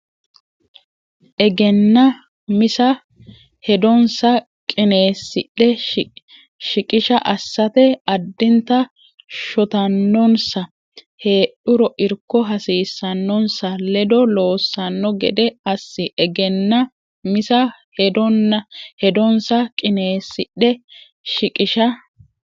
Egennaa misa Hedonsa qineessidhe shiqishsha assate addinta shotannonsa heedhuro irko hasiissannonsa ledo loossanno gede assi Egennaa misa Hedonsa qineessidhe shiqishsha.